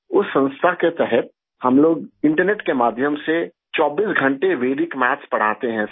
उस संस्था के तहत हम लोग इंटरनेट के माध्यम से 24 घंटे वेदिक मैथ्स पढ़ाते हैं सर